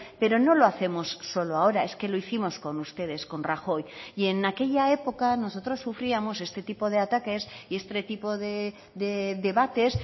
pero no lo hacemos solo ahora es que lo hicimos con ustedes con rajoy y en aquella época nosotros sufríamos este tipo de ataques y este tipo de debates